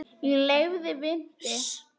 Ég leiði vitni.